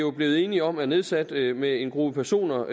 er blevet enige om at nedsætte med en gruppe personer